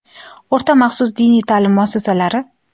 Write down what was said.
O‘rta maxsus diniy ta’lim muassasalari:.